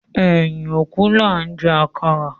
Ẹyin òkú laa ń jẹ àkàrà